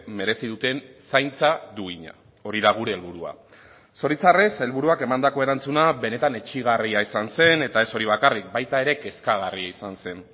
merezi duten zaintza duina hori da gure helburua zoritxarrez helburuak emandako erantzuna benetan etsigarria izan zen eta ez hori bakarrik baita ere kezkagarria izan zen